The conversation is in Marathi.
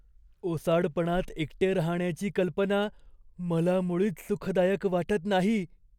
ओसाडपणात एकटे राहण्याची कल्पना मला मुळीच सुखदायक वाटत नाही.